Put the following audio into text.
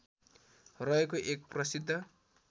रहेको एक प्रसिद्ध